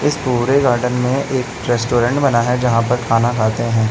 इस पूरे गार्डन में एक रेस्टोरेंट बना है जहां पर खाना खाते हैं।